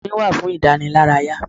Orin wà fún ìdánilárayá.